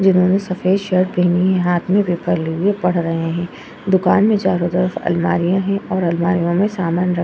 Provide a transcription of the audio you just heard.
जिन्होंने सफेद शर्ट पहनी है हाथ मे पेपर लिए पढ़ रहे है। दुकान मे चारो तरफ अलमारियां है और अलमारियों मे समान रखा --